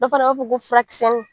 Dɔ fana b'a ko furakisɛnin